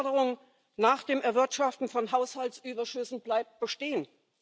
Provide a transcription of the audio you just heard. Die Forderung nach dem Erwirtschaften von Haushaltsüberschüssen bleibt bestehen.